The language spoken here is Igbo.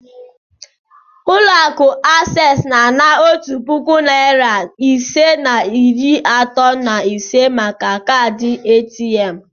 Ulo aku accessu na-ana otu puku na narị ise na iri atọ na ise maka kaadị ATM.